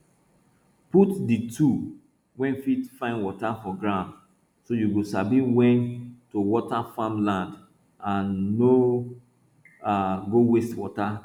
put di tool wey fit find water for ground so you go sabi wen to water farm land and no um go waste water